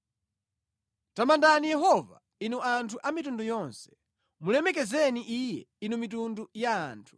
Tamandani Yehova, inu anthu a mitundu yonse; mulemekezeni Iye, inu mitundu ya anthu.